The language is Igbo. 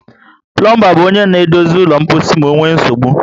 Plombar bu onye na edozi ụlọ mposi ma onwee nsogbụ